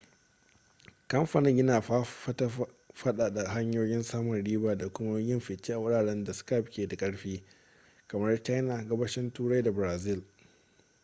kamfanin yana fatan faɗaɗa hanyoyin samun riba da kuma yin fice a wuraren da skype ke da ƙarfi kamar china gabashin turai da brazil